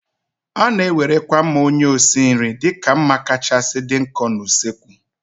A na-ewerekwa mma onye osi nri dịka mma kacha dị nkọ na usekwu.